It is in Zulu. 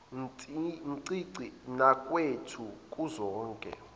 ncinci nakwethu kuzoke